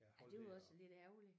Ej det var også lidt ærgerligt